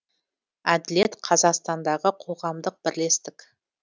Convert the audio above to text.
әділет қазақстандағы қоғамдық бірлестік